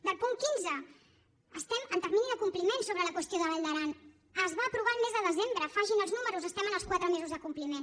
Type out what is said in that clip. del punt quinze estem en termini de compliment sobre la qüestió de vall d’aran es va aprovar el mes de desembre facin els números estem en els quatre mesos de compliment